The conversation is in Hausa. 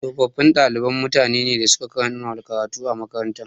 Tsofaffin ɗalibai mutane ne da suka kammala karatu a makarantar.